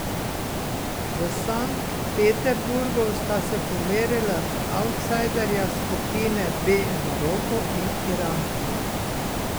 V Sankt Peterburgu sta se pomerila avtsajderja skupine B Maroko in Iran.